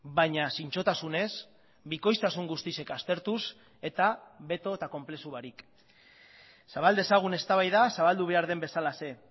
baina zintzotasunez bikoiztasun guztiek aztertuz eta beto eta konplexu barik zabal dezagun eztabaida zabaldu behar den bezalaxe